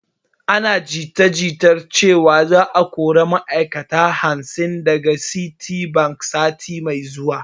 Ana jita jita cewan za a kori ma'ai'kata hamsin daga citibank sati mai zuwa